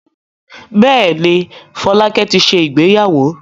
Bẹ́ẹ̀ ni, Fọlákẹ́ ti ṣe ìgbéyàwó.